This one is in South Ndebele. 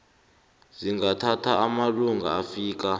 zingathatha amalanga afika